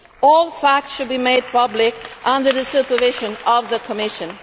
All facts should be made public under the supervision of the Commission.